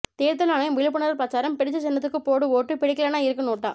தேர்தல் ஆணையம் விழிப்புணர்வு பிரசாரம் பிடிச்ச சின்னத்துக்கு போடு ஓட்டு பிடிக்கலைன்னா இருக்கு நோட்டா